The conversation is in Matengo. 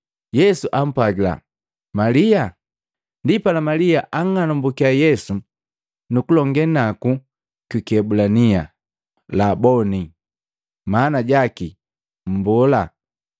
Yesu ampwagila, “Malia!” Ndipala Malia anng'anambukiya Yesu nu kulongee naku kwi kiebulania, “Laboni!” Maana jaki Mmbola.